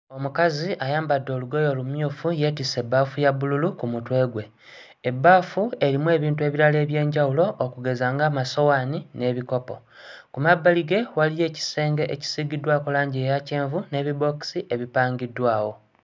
Omukazi ayambadde olugoye olumyufu yeetisse ebbaafu ya bbululu ku mutwe gwe. Ebbaafu erimu ebintu ebirala eby'enjawulo okugeza ng'amasowaani n'ebikopo. Ku mabbali ge waliyo ekisenge ekisiigiddwako langi eya kyenvu n'ebibookisi ebipangiddwawo.